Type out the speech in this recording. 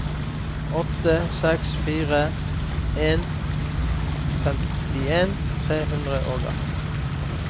åtte seks fire en femtien tre hundre og atten